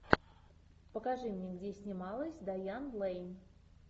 покажи мне где снималась дайан лэйн